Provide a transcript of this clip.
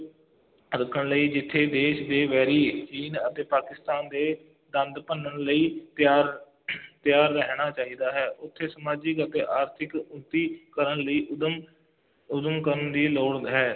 ਰੱਖਣ ਲਈ ਜਿੱਥੇ ਦੇਸ਼ ਦੇ ਵੈਰੀ ਚੀਨ ਅਤੇ ਪਾਕਿਸਤਾਨ ਦੇ ਦੰਦ ਭੰਨਣ ਲਈ ਤਿਆਰ ਤਿਆਰ ਰਹਿਣਾ ਚਾਹੀਦਾ ਹੈ, ਉੱਥੇ ਸਮਾਜਿਕ ਅਤੇ ਆਰਥਿਕ ਉੱਨਤੀ ਕਰਨ ਲਈ ਉੱਦਮ ਉੱਦਮ ਕਰਨ ਦੀ ਲੋੜ ਹੈ,